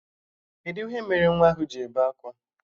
Kedụ ihe mere nwa ahụ ji ebe akwa?